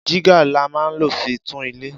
Jígà là mà ń ló fi tún ìlẹ